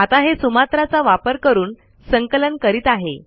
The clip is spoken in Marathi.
आता हे सुमात्रा चा वापर करून संकलन करीत आहे